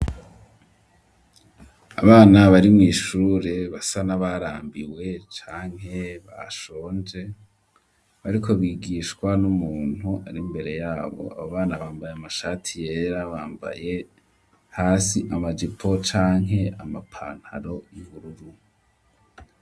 Abana bari mu ishure basa na barambiwe canke bashonje ariko bigishwa n'umuntu ari mbere yabo abo bana bambaye amashati yera bambaye hasi amajipo canke amapantaro y'ubururu.